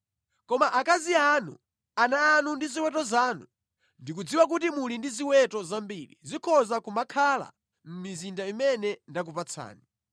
Koma akazi anu, ana anu ndi ziweto zanu (ndikudziwa kuti muli ndi ziweto zambiri) zikhoza kumakhalabe mʼmizinda imene ndakupatsani,